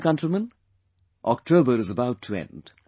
My dear countrymen, October is about to end